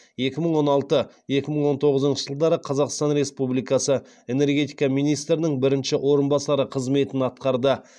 екі мың он алты екі мың он тоғызыншы жылдары қазақстан республикасы энергетика министрінің бірінші орынбасары қызметін атқарды